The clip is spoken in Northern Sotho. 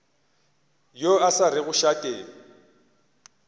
yo a sa rego šate